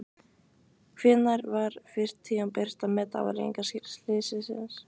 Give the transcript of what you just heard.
Hvenær var fyrst tímabært að meta afleiðingar slyssins?